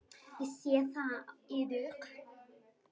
Ég sé það á yður.